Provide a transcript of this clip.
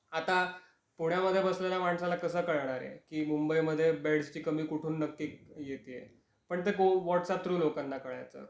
आता पुण्यामध्ये बसलेल्या माणसाला कस कळणार आहे की मुंबईमध्ये बेड्स ची कमी कुठून नक्की येते आहे. पण ते व्हाट्सअँप थ्रू लोकांना कळायचं